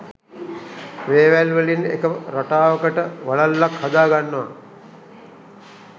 වේවැල් වලින් එක රටාවකට වලල්ලක් හදාගන්නව.